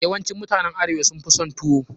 Yawancin mutanen arewa sun fi son tuwo.